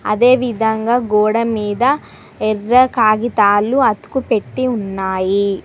అదేవిధంగా గోడమీద ఎర్ర కాగితాలు అతుకు పెట్టి ఉన్నాయి.